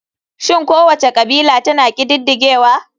Shin kowace kabila tana ƙididdigewa?